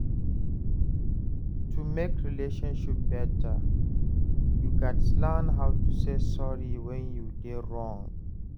To mek relationship beta, yu gats learn how to say sorry wen yu dey wrong.